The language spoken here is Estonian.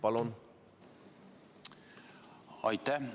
Aitäh!